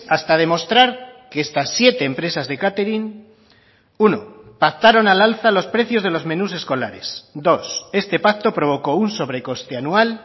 hasta demostrar que estas siete empresas de catering uno pactaron al alza los precios de los menús escolares dos este pacto provocó un sobrecoste anual